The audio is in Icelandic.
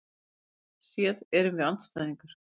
Pólitískt séð erum við andstæðingar